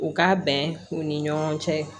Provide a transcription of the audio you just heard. U ka bɛn u ni ɲɔgɔn cɛ